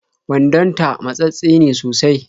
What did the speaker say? Wandonta matsattse ne sosai